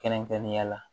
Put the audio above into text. Kɛrɛnkɛrɛnnenya la